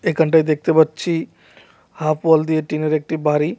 এখানটায় দেখতে পাচ্ছি হাফ ওয়াল দিয়ে টিনের একটা বাড়ি।